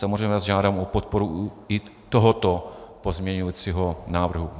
Samozřejmě vás žádám o podporu i tohoto pozměňovacího návrhu.